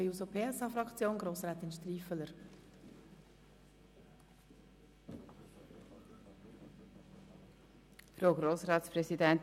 Für die SP-JUSO-PSA-Fraktion hat Grossrätin Striffeler das Wort.